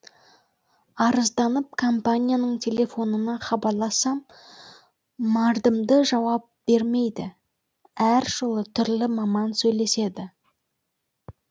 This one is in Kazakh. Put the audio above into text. арызданып компанияның телефонына хабарлассам мардымды жауап бермейді әр жолы түрлі маман сөйлеседі